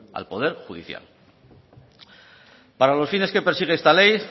al poder judicial para los fines que persigue esta ley